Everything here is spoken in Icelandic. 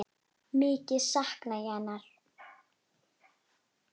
Mikið sakna ég hennar.